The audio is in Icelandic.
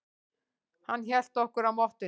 Hann hélt okkur á mottunni.